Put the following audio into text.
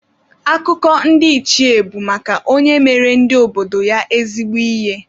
Akụkọ ndị ichie bụ maka onye mere ndi obodo ya ezigbo ihe.